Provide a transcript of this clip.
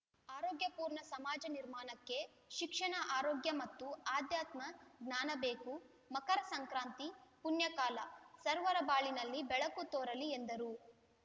ಆರೋಗ್ಯಪೂರ್ಣ ಸಮಾಜ ನಿರ್ಮಾಣಕ್ಕೆ ಶಿಕ್ಷಣ ಆರೋಗ್ಯ ಮತ್ತು ಅಧ್ಯಾತ್ಮ ಜ್ಞಾನಬೇಕು ಮಕರ ಸಂಕ್ರಾಂತಿ ಪುಣ್ಯಕಾಲ ಸರ್ವರ ಬಾಳಿನಲ್ಲಿ ಬೆಳಕು ತೋರಲಿ ಎಂದರು